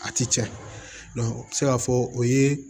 A ti tiɲɛ a bɛ se k'a fɔ o ye